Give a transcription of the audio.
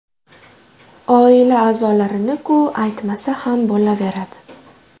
Oila a’zolarini-ku aytmasa ham bo‘laveradi.